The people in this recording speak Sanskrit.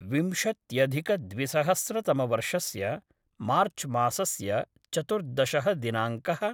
विंशत्यधिकद्विसहस्रतमवर्षस्य मार्च्मासस्य चतुर्दशः दिनाङ्कः